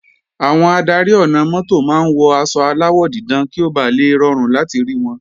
Àwọn adarí ọ̀nà-mọ́tò máa ń wọ aṣọ aláwọ̀ dídán kí ó bà le rọrùn láti rí wọn